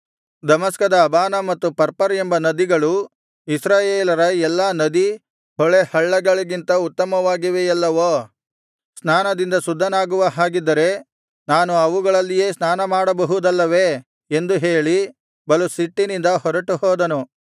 ದಮಸ್ಕದ Abana ಮತ್ತು Pharpar ಎಂಬ ನದಿಗಳು ಇಸ್ರಾಯೇಲರ ಎಲ್ಲಾ ನದಿ ಹೊಳೆಹಳ್ಳಗಳಿಗಿಂತ ಉತ್ತಮವಾಗಿವೆಯಲ್ಲವೋ ಸ್ನಾನದಿಂದ ಶುದ್ಧನಾಗುವ ಹಾಗಿದ್ದರೆ ನಾನು ಅವುಗಳಲ್ಲಿಯೇ ಸ್ನಾನಮಾಡಬಹುದಲ್ಲವೇ ಎಂದು ಹೇಳಿ ಬಲು ಸಿಟ್ಟಿನಿಂದ ಹೊರಟುಹೋದನು